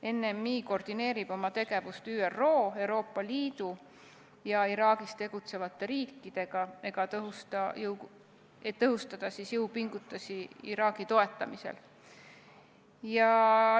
NMI koordineerib oma tegevust ÜRO, Euroopa Liidu ja Iraagis tegutsevate riikidega, et tõhustada jõupingutusi Iraagi toetamisel.